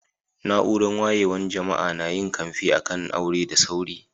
Naúrar wayewan jama'a na yin kamfe a'kan aure da sauri.